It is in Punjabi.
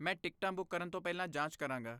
ਮੈਂ ਟਿਕਟਾਂ ਬੁੱਕ ਕਰਨ ਤੋਂ ਪਹਿਲਾਂ ਜਾਂਚ ਕਰਾਂਗਾ।